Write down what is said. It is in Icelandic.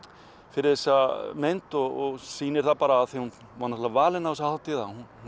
fyrir þessa mynd og sýnir það bara af því að hún var náttúrulega valin á þessa hátíð